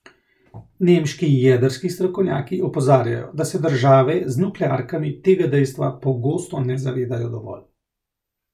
Nemški jedrski strokovnjaki opozarjajo, da se države z nuklearkami tega dejstva pogosto ne zavedajo dovolj.